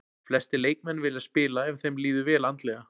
Flestir leikmenn vilja spila ef þeim líður vel andlega.